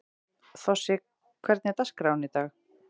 Þossi, hvernig er dagskráin í dag?